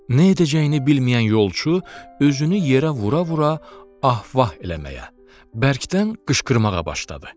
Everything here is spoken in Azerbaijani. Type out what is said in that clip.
Neyləyəcəyini bilməyən yolçu özünü yerə vura-vura ah-vah eləməyə, bərkdən qışqırmağa başladı.